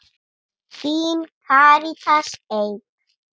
Þín, Karítas Eik.